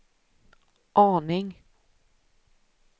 aning